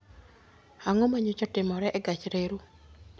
Ang'o ma nyocha otimore e gach reru?